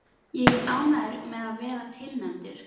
Ég er ánægður með að vera tilnefndur.